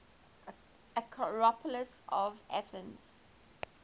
acropolis of athens